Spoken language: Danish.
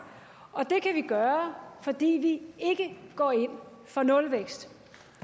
og det kan vi gøre fordi vi ikke går ind for nulvækst